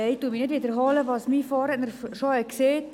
Ich wiederhole nicht, was mein Vorredner bereits gesagt hat.